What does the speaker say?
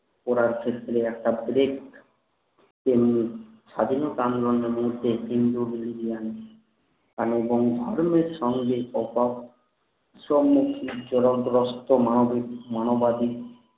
করার শেষ থেকে একটা break স্বাধীনতা আন্দোলনের মধ্যে হিন্দু ক্রিস্তিয়ান মানে সঙ্গে স্মুখীন চরকগস্ত মানবিক মানবাদী